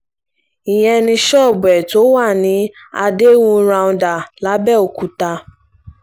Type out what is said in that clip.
ìyẹn ni ṣọ́ọ̀bù ẹ̀ tó wà ní àdéhùn rounder làbẹ́òkúta